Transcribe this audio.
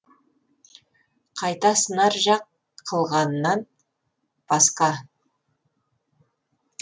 қайта сынар жақ қылғаннан басқа